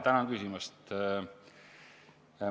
Tänan küsimast!